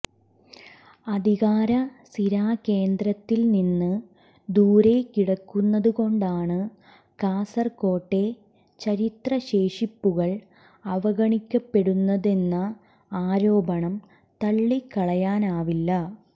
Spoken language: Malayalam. അധികാര സിരാകേന്ദ്രത്തിൽനിന്ന് ദൂരെ കിടക്കുന്നതുകൊണ്ടാണ് കാസർകോട്ടെ ചരിത്രശേഷിപ്പുകൾ അവഗണിക്കപ്പെടുന്നതെന്ന ആരോപണം തള്ളിക്കളയാനാവില്ല